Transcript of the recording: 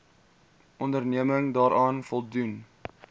onderneming daaraan voldoen